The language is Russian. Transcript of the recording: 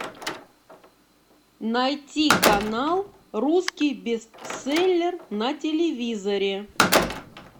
найти канал русский бестселлер на телевизоре